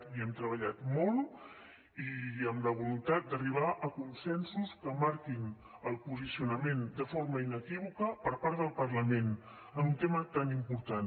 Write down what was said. hi hem treballat molt i amb la voluntat d’arribar a consensos que marquin el posicionament de forma inequívoca per part del parlament en un tema tan important